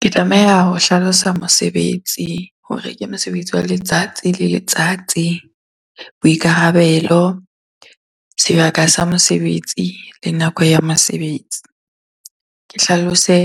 Ke tlameha ho hlalosa mosebetsi hore ke mosebetsi wa letsatsi le letsatsi, boikarabelo, sebaka sa mosebetsi le nako ya mosebetsi. Ke hlalose